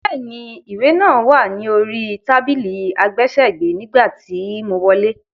Bẹ́ẹ̀ni, ìwé náà wá ni orí tábìlì àgbésẹ̀gbẹ́ nígbà tí mo wọlé.